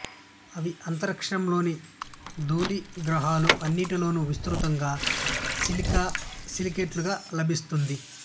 ఇవి అంతరిక్షంలోని ధూళి గ్రహాలు అన్నింటిలోను విస్తృతంగా సిలికా సిలికేట్లుగా లభిస్తుంది